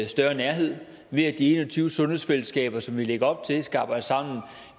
større nærhed ved at de en og tyve sundhedsfællesskaber som vi lægger op til skal arbejde sammen